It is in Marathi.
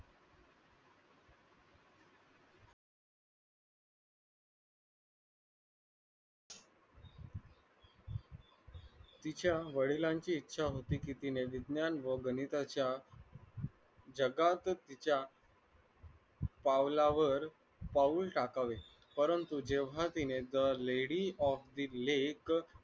तिच्या वडिलांची इच्छा होती की तिने विज्ञान व गणिताच्या जगातच्या पावलावर पाऊल टाकावे परंतु जेव्हा तिने the lady of the lake